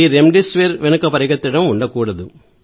remdesivir వెనుక పరుగెత్తడం ఉండకూడదు